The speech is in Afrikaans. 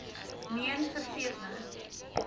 meen vergeet nou